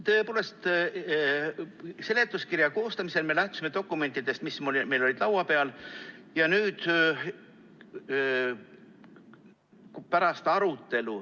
Tõepoolest, seletuskirja koostamisel me lähtusime dokumentidest, mis meil olid laua peal.